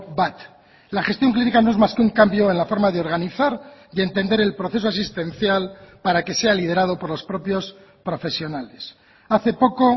bat la gestión clínica no es más que un cambio en la forma de organizar y entender el proceso asistencial para que sea liderado por los propios profesionales hace poco